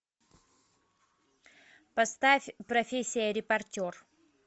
поставь профессия репортер